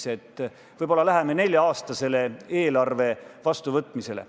Nimelt, võib-olla lähme nelja-aastase eelarve vastuvõtmisele.